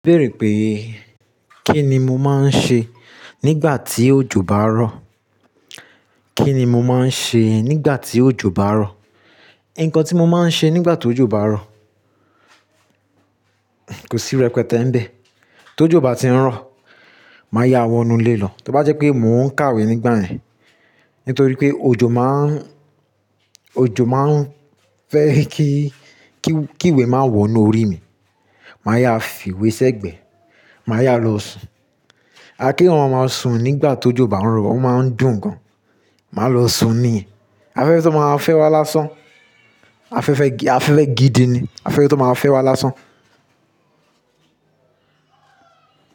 Bẹ́ẹ̀rè pé, kí ni mo máa ń ṣe nígbà tí òjò bá ń rọ̀? Kí ni mo máa ń ṣe nígbà tí òjò bá ń rọ̀? Ǹkan tí mo máa ń ṣe nígbà tó òjò bá ń rọ̀, kò sí rẹpẹtẹ ń bẹ. Tó òjò bá ti ń rọ̀, màá yá wọnú ilé lọ. Tí ó bá jẹ́ pé mò ń kàwé nígbà yẹn, nítorí pé òjò má ń, òjò má ń fẹ́ kí, kí, kí ìwé má wọ inú orí mi, màá yá fìwé sẹ́gbẹ̀ẹ́, màá yá lọ sùn. A kí wọn máa sùn nígbà tó òjò bá ń rọ̀, o máa ń dùn gan. Màá lọ sùn ní, afẹ́fẹ́ tó máa fẹ́ wá lásán. Afẹ́fẹ́ gi afẹ́fẹ́ gidini, afẹ́fẹ́ tó máa fẹ́ wá lásán.